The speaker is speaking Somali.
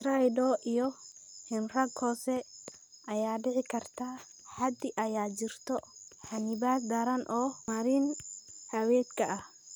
Stridor iyo hiinraag hoose ayaa dhici karta haddii ay jirto xannibaad daran oo marin-haweedka ah.